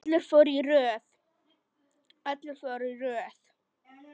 Allir fóru í röð.